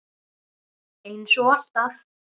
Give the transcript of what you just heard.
Eins og alltaf.